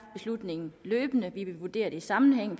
løbende og vi vil vurdere i en sammenhæng og